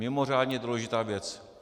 Mimořádně důležitá věc.